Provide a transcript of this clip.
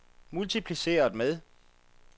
multipliceret med